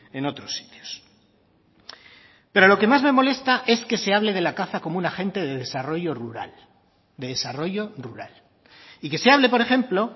en otros sitios pero lo que más me molesta es que se hable de la caza como un agente de desarrollo rural de desarrollo rural y que se hable por ejemplo